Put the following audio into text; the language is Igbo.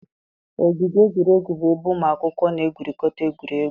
Ogige egwuregwu bụ ebe ụmụ akwụkwọ na-egwurịkọta egwuregwu.